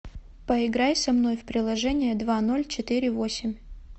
поиграй со мной в приложение два ноль четыре восемь